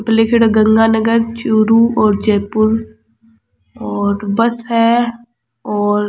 ऊपर लिख्योड़ो है गंगानगर चूरू और जयपुर और बस है और --